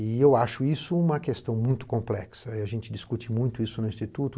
E eu acho isso uma questão muito complexa e a gente discute muito isso no Instituto.